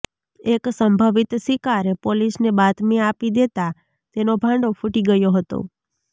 એક સંભવિત શિકારે પોલીસને બાતમી આપી દેતાં તેનો ભાંડો ફૂટી ગયો હતો